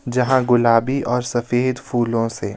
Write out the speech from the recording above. यहां गुलाबी और सफेद फूलों से--